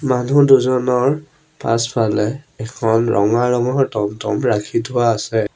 মানুহ দুজনৰ পাছফালে এখন ৰঙা ৰঙৰ টমটম ৰাখি থোৱা আছে।